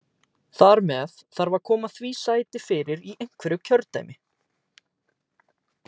Þar með þarf að koma því sæti fyrir í einhverju kjördæmi.